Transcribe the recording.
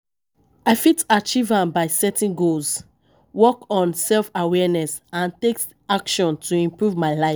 I fit achieve am by setting goals, work on self-awareness and take actions to improve my life.